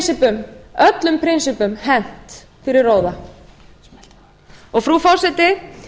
þá er öllum prinsippum hent fyrir róða frú forseti